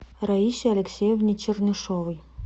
раисе алексеевне чернышовой